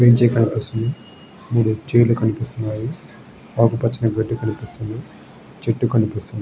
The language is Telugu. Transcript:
మనకు కనిపిస్తున్నది మూడు చైర్స్ కనిపిస్తున్నాయి ఆకు పచ్చని కనిపిస్తున్నది చెట్లు కనిపిస్తున్నది.